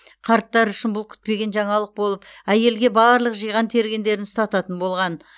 қарттар үшін бұл күтпеген жаңалық болып әйелге барлық жиған тергендерін ұстататын болған